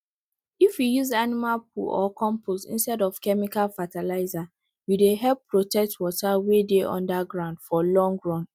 if you use animal poo or compost instead of chemical fertilizer you dey help protect water wey dey under ground for long run